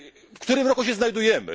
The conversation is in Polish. w którym roku się znajdujemy?